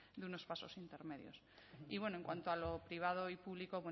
de unos pasos intermedios y bueno en cuanto a lo privado y público